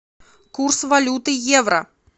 курс валюты евро